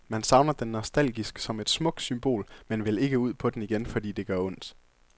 Man savner den nostalgisk som et smukt symbol, men vil ikke ud på den igen, fordi det gør ondt.